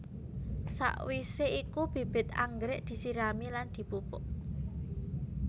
Sakwisé iku bibit anggrèk disirami lan dipupuk